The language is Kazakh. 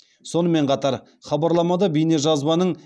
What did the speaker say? сонымен қатар хабарламада бейнежазбаның